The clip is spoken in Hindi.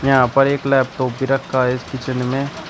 यहां पर एक लैपटॉप भी रखा है इस किचन में।